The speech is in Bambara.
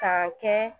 Ka kɛ